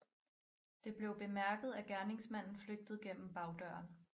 Det blev bemærket at gerningsmanden flygtede gennem bagdøren